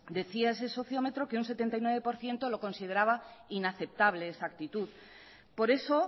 decía ese sociómetro que un setenta y nueve por ciento lo consideraba inaceptable esa actitud por eso